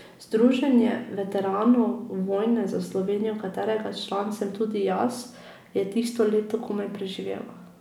Združenje veteranov vojne za Slovenijo, katerega član sem tudi jaz, je tisto leto komaj preživelo.